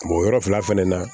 yɔrɔ fila fɛnɛ na